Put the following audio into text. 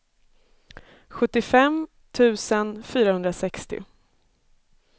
sjuttiofem tusen fyrahundrasextio